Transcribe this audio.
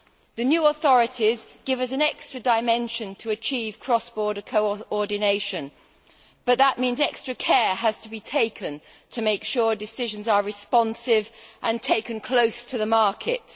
The new authorities give us an extra dimension to achieve cross border coordination, but that means extra care has to be taken to make sure that decisions are responsive and taken close to the markets.